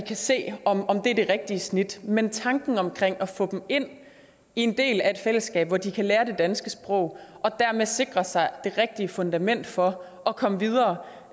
kan se om om det er det rigtige snit men tanken omkring det at få dem ind i en del af et fællesskab hvor de kan lære det danske sprog og dermed sikre sig det rigtige fundament for at komme videre